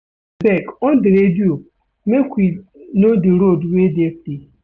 Abeg on di radio make we know di road wey dey free.